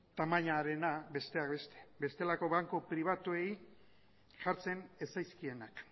tamainarena besteak beste bestelako banku pribatuei jartzen ez zaizkienak